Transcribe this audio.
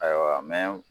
Ayiwa